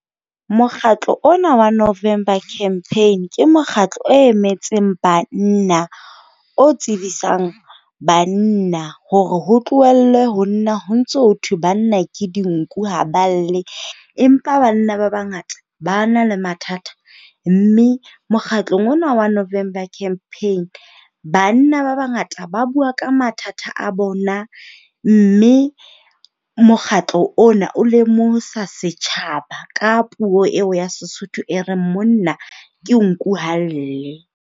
Mokgatlo ona wa November Campaign, ke mokgatlo o emetseng banna. O tsebisang banna hore ho tlohellwe ho nna ho ntso ho thwe banna ke dinku ha ba lle, empa banna ba bangata ba na le mathata. Mme mokgatlong ona wa November Campaign, banna ba bangata ba bua ka mathata a bona. Mme mokgatlo ona o lemosa setjhaba ka puo eo ya Sesotho, e reng monna ke nku ha a lle.